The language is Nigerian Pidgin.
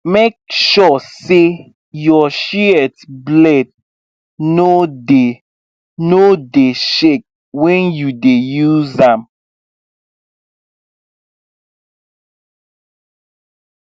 make sure say your shears blade no dey no dey shake when you dey use am